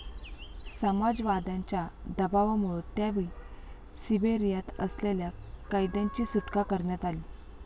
समाजवाद्यांच्या दबावामुळं त्यावेळी सिबेरियात असलेल्या कैद्यांची सुटका करण्यात आली.